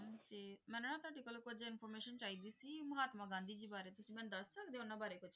ਜੀ ਮੈਂ ਨਾ ਤੁਹਾਡੇ ਕੋਲੋਂ ਕੁੱਝ information ਚਾਹੀਦੀ ਸੀ, ਮਹਾਤਮਾ ਗਾਂਧੀ ਜੀ ਬਾਰੇ ਤੁਸੀਂ ਮੈਨੂੰ ਦੱਸ ਸਕਦੇ ਹੋ ਉਹਨਾਂ ਬਾਰੇ ਕੁੱਝ?